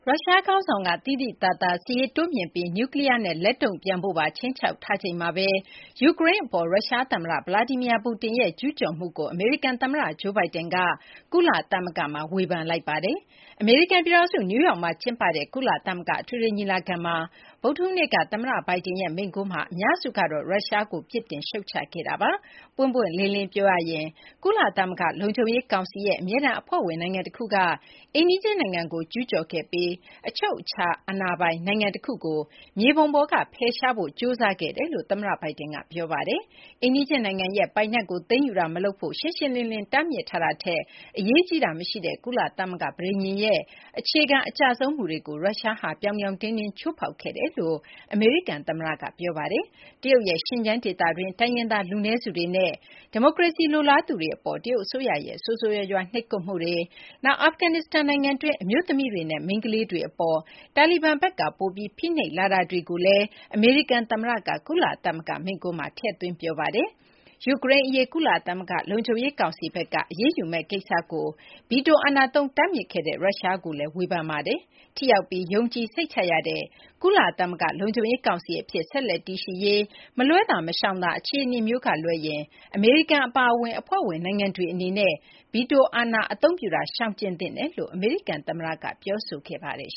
ရုရှား ခေါင်းဆောင်က သိသိသာသာ စစ်ရေးတိုးမြှင့်ပြီး နျူးကလီးယားနဲ့ လက်တုံ့ပြန်ဖို့ပါ ခြိမ်းခြောက်ထားချိန်မှာဘဲ ယူကရိန်း အပေါ် ရုရှား သမ္မတ Vladimir Putin ရဲ့ ကျူးကျော်မှုကို အမေရိကန် သမ္မတ Joe Biden က ကုလသမဂ္ဂမှာ ဝေဖန်လိုက်ပါတယ်။ အမေရိကန် ပြည်ထောင်စု နယူးယောက်မှာ ကျင်းပတဲ့ ကုလသမဂ္ဂ အထွေထွေ ညီလာခံမှာ ဗုဒ္ဓဟူးနေ့က သမ္မတ Biden ရဲ့ မိန့်ခွန်းမှာ အများစုကတော့ ရုရှားကို ပြစ်တင် ရှုတ်ချခဲ့တာပါ။ ပွင့်ပွင့်လင်းလင်း ပြောရရင်တော့ ကုလသမဂ္ဂ လုံခြုံရေး ကောင်စီရဲ့ အမြဲတမ်း အဖွဲ့ဝင် နိုင်ငံ တခုက အိမ်နီးချင်း နိုင်ငံကို ကျူးကျော်ခဲ့ပြီး အချုပ်အချာပိုင် နိုင်ငံတခုကို မြေပုံပေါ်က ဖယ်ရှားဖို့ ကြိုးစားခဲ့ပါတယ်လို့ သမ္မတ Biden က ပြောဆိုခဲ့ပါတယ်။ အိမ်နီးချင်း နိုင်ငံရဲ့ ပိုင်နက်ကို သိမ်းယူတာ မလုပ်ဖို့ ရှင်းလင်းလင်းလင်း တားမြစ်ထားတာထက် အရေးကြီးတာ မရှိတဲ့ ကုလသမဂ္ဂ ပဋိညာဉ်ရဲ့ အခြေခံ အကျဆုံး မူတွေကို ရုရှားဟာ ပြောင်ပြောင်တင်းတင်း ချိုးဖောက်ခဲ့တယ်လို့ အမေရိကန် သမ္မတက မိန့်ခွန်းမှာ ပြောဆိုခဲ့ပါတယ်။ တရုတ်ရဲ့ Xinjiang ဒေသတွင်းက တိုင်းရင်းသား လူနည်းစုတွေနဲ့ ဒီမိုကရေစီ လိုလားသူတွေကို တရုတ်အစိုးရရဲ့ ဆိုးဆိုးရွားရွား နှိပ်ကွပ်မှုတွေ၊ နောက် အာဖဂန်နစ္စတန် နိုင်ငံတွင်း အမျိုးသမီးတွေနဲ့ မိန်းကလေးတွေ အပေါ် တာလီဘန်ဘက်က ပိုပြီး ဖိနှိပ်လာတာတွေကိုလည်း အမေရိကန် သမ္မတ Biden က ကုလသမဂ္ဂ မိန့်ခွန်းမှာ ထည့်သွင်း ပြောဆိုခဲ့ပါတယ်။ ယူကရိန်း အရေး ကုလသမဂ္ဂ လုံခြုံရေး ကောင်စီဘက်က အရေးယူမယ့် ကိစ္စကို ဗီတို အာဏာသုံး တားမြစ်ခဲ့တဲ့ ရုရှားကိုလည်း ဝေဖန်ပါတယ်။ ထိရောက်ပြီး ယုံကြည်စိတ်ချရတဲ့ ကုလသမဂ္ဂ လုံခြုံရေး ကောင်စီ အဖြစ် ဆက်လက် တည်ရှိရေး အတွက် မလွှဲသာ မရှောင်သာ အခြေအနေမျိုးကလွဲရင် အမေရိကန် အပါအဝင် အဖွဲ့ဝင် နိုင်ငံတွေ အနေနဲ့ ဗီတို အာဏာကို အသုံးပြုတာ ရှောင်ကျဉ်သင့်တယ်လို့လည်း အမေရိကန် သမ္မတက ပြောဆိုခဲ့ပါတယ်။